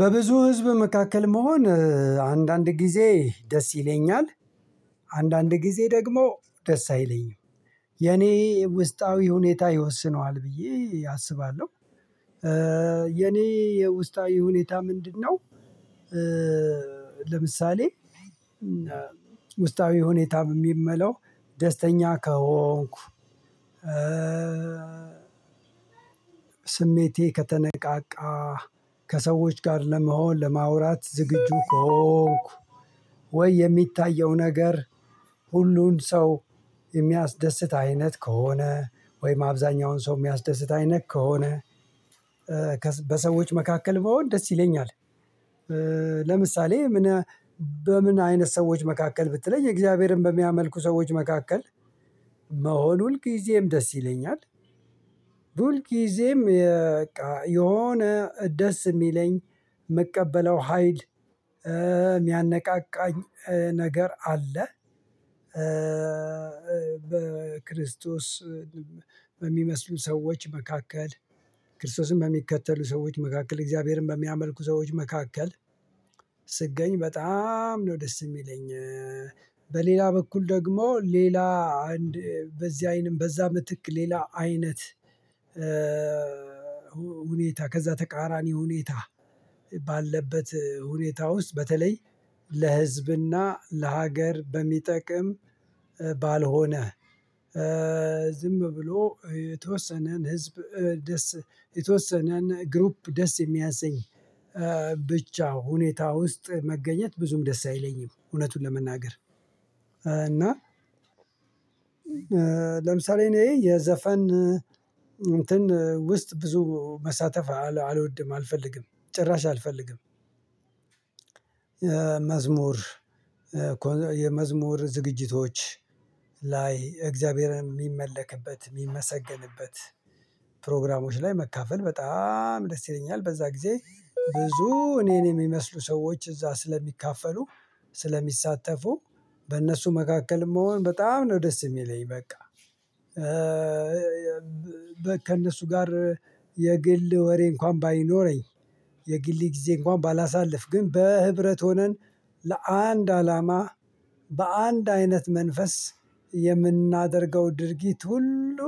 በብዙ ህዝብ መካከል መሆን አንዳንድ ጊዜ ደስ ይለኛል። አንዳንድ ጊዜ ደግሞ ደስ አይለኝም። የኔ ውስጣዊ ሁኔታ ይወስነዋል ብዬ አስባለሁ። የኔ የውስጣዊ ሁኔታ ምንድነው? ለምሳሌ ውስጣዊ ሁኔታም የሚ የምለው ደስተኛ ከሆንኩ። ስሜቴ ከተነቃቃ ከሰዎች ጋር ለመሆን ለማውራት ዝግጁ ከሆንኩ። ወይ የሚታየው ነገር ሁሉን ሰው የሚያስደስት አይነት ከሆነ ወይም አብዛኛውን ሰው የሚያስደስት አይነት ከሆነ በሰዎች መካከል ብሆን ደስ ይለኛል። ለምሳሌ ምን በምን አይነት ሰዎች መካከል ብትለኝ እግዚአብሔርን በሚያመልኩ ሰዎች መካከል መሆን ሁልጊዜም ደስ ይለኛል። ሁል ጊዜም የ በቃ የሆነ ደስ የሚለኝ የምቀበለው ሀይል የሚያነቃቃኝ ነገር አለ። በክርስቶስ በሚመስሉን ሰዎች መካከል ክርስቶስን በሚከተሉ ሰዎች መካከል እግዚአብሔርን በሚያመልኩ ሰዎች መካከል ስገኝ በጣም ነው ደስ የሚለኝ። በሌላ በኩል ደግሞ ሌላ አንድ በዚህ አይንም በዛ ምትክ ሌላ አይነት። ሁኔታ ከዛ ተቃራኒ ሁኔታ ባለበት ሁኔታ ውስጥ በተለይ ለህዝብና ለሀገር በሚጠቅም ባልሆነ። ዝም ብሎ የተወሰነን ህዝብ ደስ የተወሰነን ግሩፕ ደስ የሚያሰኝ ብቻ ሁኔታ ውስጥ መገኘት ብዙም ደስ አይለኝም እውነቱን ለመናገር። እና ለምሳሌ እኔ የዘፈን እንትን ውስጥ ብዙ መሳተፍ አልወድም አልፈልግም ጭራሽ አልፈልግም። ሁል ጊዜም የ በቃ የሆነ ደስ የሚለኝ የምቀበለው ሀይል የሚያነቃቃኝ ነገር አለ። ብዙ እኔን የሚመስሉ ሰዎች እዛ ስለሚካፈሉ ስለሚሳተፉ በእነሱ መካከልም መሆን በጣም ነው ደስ የሚለኝ በቃ። ከእነሱ ጋር የግል ወሬ እንኳን ባይኖረኝ የግል ጊዜ እንኳን ባላሳልፍ ግን በህብረት ሆነን ለአንድ አላማ በአንድ አይነት መንፈስ የምናደርገው ድርጊት ሁሉ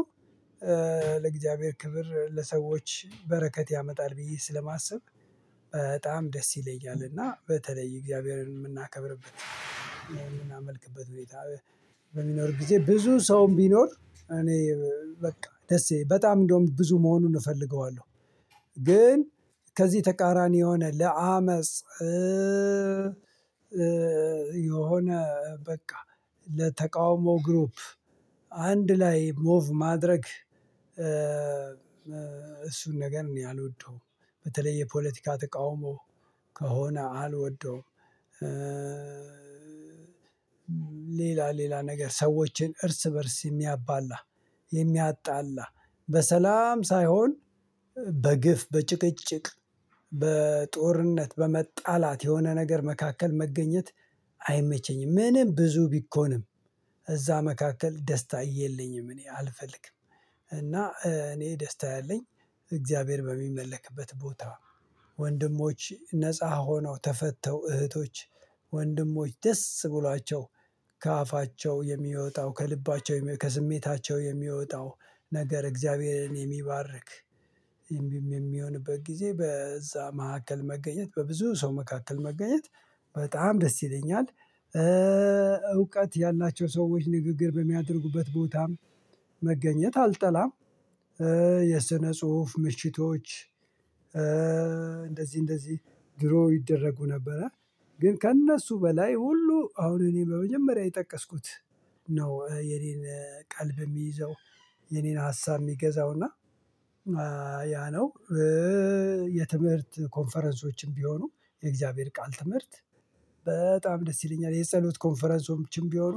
ለእግዚአብሔር ክብር ለሰዎች በረከት ያመጣል ብዬ ስለማስብ በጣም ደስ ይለኛል። እና በተለይ እግዚአብሔርን የምናከብርበት የምናመልክበት ቤት በሚኖር ጊዜ ብዙ ሰውም ቢኖር እኔ በቃ ደስ ይ በጣም እንደውም ብዙ መሆኑን እፈልገዋለሁ። ግን ከዚህ ተቃራኒ የሆነ ለአመጽ የሆነ በቃ ለተቃውሞ ግሩፕ አንድ ላይ ሞቭ ማድረግ እሱን ነገር እኔ አልወደው በተለይ የፖለቲካ ተቃውሞ ከሆነ አልወደውም። ሌላ ሌላ ነገር ሰዎችን እርስ በእርስ የሚያባላ የሚያጣላ በሰላም ሳይሆን በግፍ በጭቅጭቅ በጦርነት በመጣላት የሆነ ነገር መካከል መገኘት አይመቸኝም ምንም ብዙ ቢኮንም እዛ መካከል ደስታ የለኝም እኔ አልፈልግም። እና እኔ ደስታ ያለኝ እግዚአብሔር በሚመለክበት ቦታ ወንድሞች ነፃ ሆነው ተፈተው እህቶች ወንድሞች ደስ ብሏቸው ከአፋቸው የሚወጣው ከልባቸው ከስሜታቸው የሚወጣው ነገር እግዚአብሔርን የሚባርክ የሚሆንበት ጊዜ በዛ መካከል መገኘት በብዙ ሰው መካከል መገኘት በጣም ደስ ይለኛል። እውቀት ያላቸው ሰዎች ንግግር በሚያደርጉበት ቦታም መገኘት አልጠላም። የስነ ጽሁፍ ምሽቶች እንደዚህ እንደዚህ ድሮ ይደረጉ ነበረ። ግን ከእነሱ በላይ ሁሉ አሁን እኔ በመጀመሪያ የጠቀስኩት ነው የኔን ቀልብ የሚይዘው የኔን ሀሳብ የሚገዛው እና ያ ነው። የትምህርት ኮንፈረንሶችም ቢሆኑ የእግዚአብሔር ቃል ትምህርት በጣም ደስ ይለኛል። የጸሎት ኮንፈረንሶችም ቢሆኑ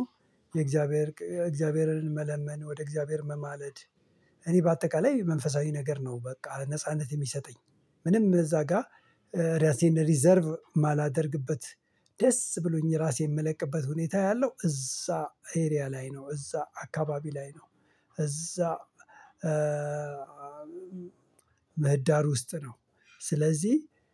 የእግዚአብሔር እግዚአብሔርን መለመን ወደ እግዚአብሔር መማለድ እኔ በአጠቃላይ መንፈሳዊ ነገር ነው። በቃ ነጻነት የሚሰጠኝ ምንም እዛ ጋር ራሴን ሪዘርቭ ማላደርግበት ደስ ብሎኝ ራሴን የምለቅበት ሁኔታ ያለው እዛ ኤሪያ ላይ ነው እዛ አካባቢ ላይ ነው። እዛ ምህዳር ውስጥ ነው። ስለዚህ